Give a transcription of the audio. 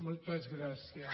moltes gràcies